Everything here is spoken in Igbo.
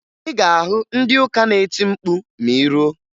Ị ga-ahụ ndị ụka na-eti mkpu ma ị ruo